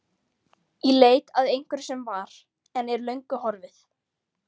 Í leit að einhverju sem var, en er löngu horfið.